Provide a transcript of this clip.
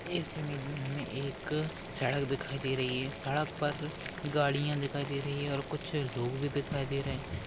इस इमेज में हमे एक सड़क दिखाई दे रही है सड़क पर गाड़िया दिखाई दे रही है और कुछ लोग भी दिखाई दे रहे